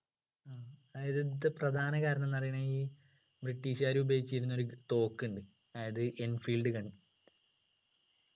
ഇത് പ്രധാന കാരണം ന്നു പറയുന്നത് ഈ british കാർ ഉപയോഗിച്ചിരുന്ന ഒരു തോക്കുണ്ട് അതായത് enfeild gun